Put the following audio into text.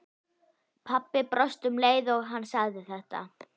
Pabbi brosti um leið og hann sagði þetta.